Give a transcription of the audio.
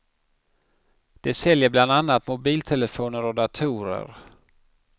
De säljer bland annat mobiltelefoner och datorer.